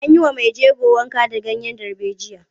An yi wa mai jego wanka da ganyen darbejiya.